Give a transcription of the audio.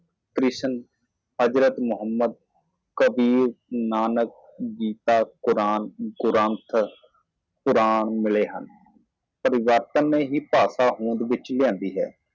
ਕ੍ਰਿਸ਼ਨ ਹਜ਼ਰਤ ਮੁਹੰਮਦ ਕਬੀਰ ਨਾਨਕ ਗੀਤਾ ਕੁਰਾਨ ਗੁਰੂ ਗ੍ਰੰਥ ਪੁਰਾਣਾਂ ਪਾਇਆ ਹੈ ਤਬਦੀਲੀ ਵਿੱਚ ਜੀਭ ਨੂੰ ਬੁੱਲ੍ਹਾਂ ਤੇ ਲਿਆਂਦਾ ਜਾਂਦਾ ਹੈ